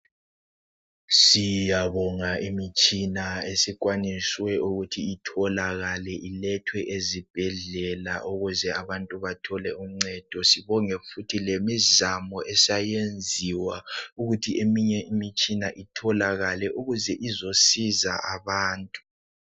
Siyabonga imitshina esikwaniswe ukuthi itholakale ilethwe ezibhedlela, ukuze abantu bathole uncedo. Sibonge futhi lemizamo esayenziwa ukuthi eminye imitshina itholakale ukuze izosiza abantu.